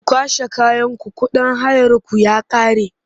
Ku kwashe kayanku kuɗin hayarku ya ƙare!